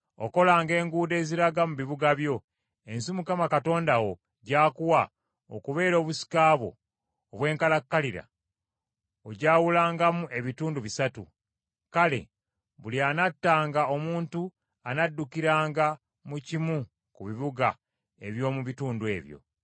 Okolanga enguudo eziraga mu bibuga ebyo; ensi Mukama Katonda wo gy’akuwa okubeera obusika bwo obw’enkalakkalira, ogyawulangamu ebitundu bisatu, kale buli anattanga omuntu anaddukiranga mu kimu ku bibuga eby’omu bitundu ebyo.